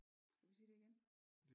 Skulle vi sige det igen?